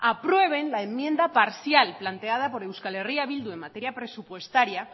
aprueben la enmienda parcial planteada por euskalerria bildu en materia presupuestaria